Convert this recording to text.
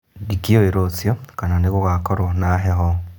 Ndikĩũĩ rũciũ kana nĩgũgakorwo na heho